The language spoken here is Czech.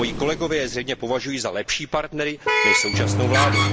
Moji kolegové je zřejmě považují za lepší partnery než současnou vládu.